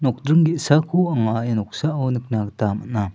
nokdring ge·sako anga ia noksao nikna gita man·a.